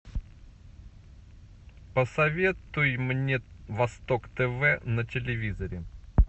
посоветуй мне восток тв на телевизоре